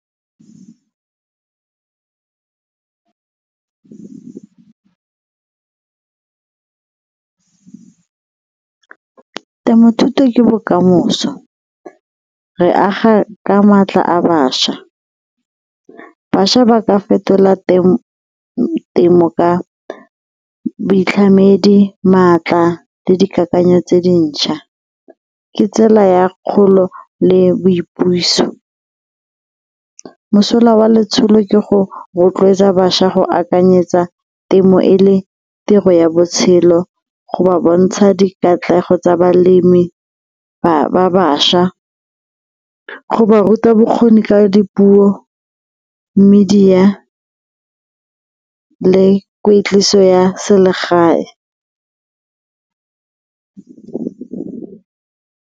Temo thuto ke bokamoso, re aga ka maatla a bašwa. Bašwa ba ka fetola temo ka boitlhamedi, maatla le dikakanyo tse dintšha, ke tsela ya kgolo le boipuso. Mosola wa letsholo ke go rotloetsa bašwa go akanyetsa temo e le tiro ya botshelo go ba bontsha dikatlego tsa balemi ba bašwa go ba ruta bokgoni ka dipuo, media le kweetliso ya selegae.